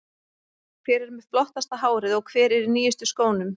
Hver er með flottasta hárið og hver er í nýjustu skónum?